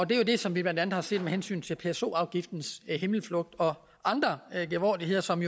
det som vi blandt andet har set med hensyn til pso afgiftens himmelflugt og andre genvordigheder som